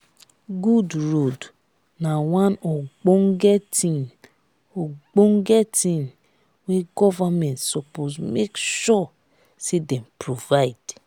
good road na one ogbonge tin ogbonge tin wey government suppose make sure say dem provide